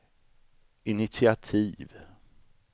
initiativ